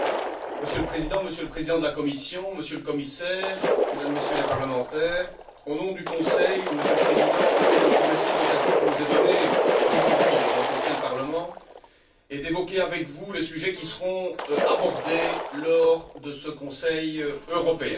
Monsieur le Président, Monsieur le Président de la Commission, Monsieur le Commissaire, Mesdames et Messieurs les parlementaires, au nom du Conseil, Monsieur le Président, je vous remercie de l'occasion qui nous est donnée aujourd'hui de rencontrer le Parlement et d'évoquer avec vous les sujets qui seront abordés lors de ce Conseil européen.